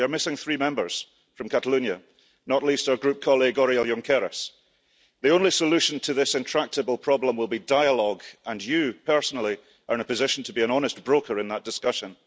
We are missing three Members from Catalonia, not least our Group colleague Oriol Junqueras. The only solution to this intractable problem will be dialogue, and you, personally, are in a position to be an honest broker in that discussion.